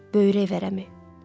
Böyrək vərəmi.